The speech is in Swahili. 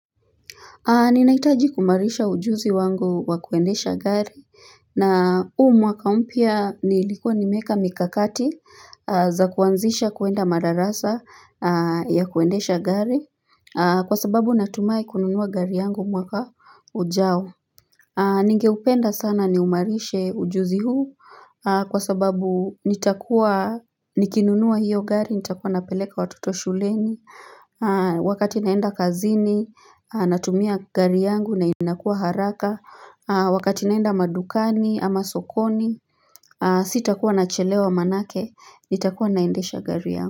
Ninahitaji kuimarisha ujuzi wangu wa kuendesha gari na huu mwaka mpya nilikuwa nimeeka mikakati za kuanzisha kuenda madarasa ya kuendesha gari kwa sababu natumai kununua gari yangu mwaka ujao. Ningeupenda sana niumarishe ujuzi huu kwa sababu nitakuwa nikinunua hiyo gari nitakuwa napeleka watoto shuleni. Wakati naenda kazini, natumia gari yangu na inakuwa haraka Wakati naenda madukani ama sokoni Sitakuwa nachelewa maanake, nitakuwa naendesha gari yangu.